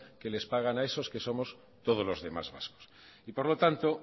que les pagan a esos que somos todos los demás vascos y por lo tanto